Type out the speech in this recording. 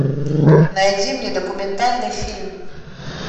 найди мне документальный фильм